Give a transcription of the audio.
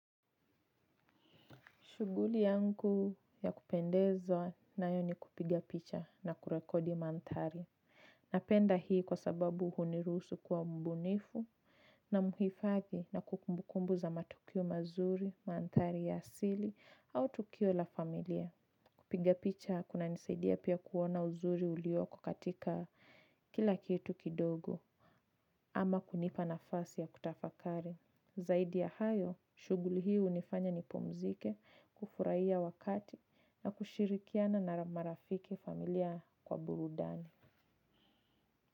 Shughuli yangu ya kupendezwa nayo ni kupiga picha na kurekodi maanthari. Napenda hii kwa sababu hunirusu kuwa mbunifu na mhifadhi na kumbu kumbu za matukio mazuri, maanthari ya asili au tukio la familia. Kupiga picha kunanisaidia pia kuona uzuri ulioko katika kila kitu kidogo ama kunipa nafasi ya kutafakari. Zaidi ya hayo, shughuli hii hunifanya nipumzike kufurahiya wakati na kushirikiana na marafiki familia kwa burudani.